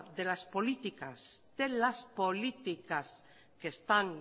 de las políticas que están